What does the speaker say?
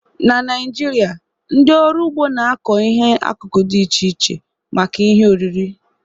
Na Naịjirịa, ndị ọrụ ugbo na-akọ ihe akụkụ dị iche iche maka ihe oriri.